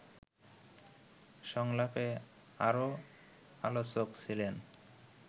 সংলাপে আরও আলোচক ছিলেন